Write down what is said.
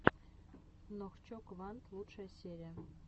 нохчо квант лучшая серия